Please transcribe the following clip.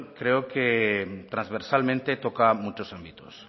creo que transversalmente toca muchos ámbitos